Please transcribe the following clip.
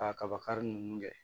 Ka kaba kari ninnu kɛ